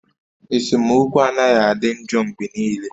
Esemokwu anaghị adị njọ mgbe niile